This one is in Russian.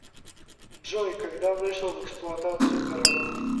джой когда вышел в эксплуатацию гаранд